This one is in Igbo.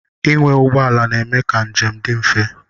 Ịnwe ụgbọala na-eme ka njem dị mfe.